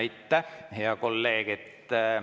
Aitäh, hea kolleeg!